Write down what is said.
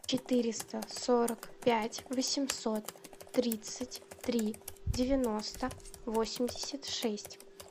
четыреста сорок пять восемьсот тридцать три девяносто восемьдесят шесть